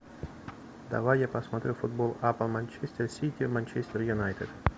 давай я посмотрю футбол апл манчестер сити манчестер юнайтед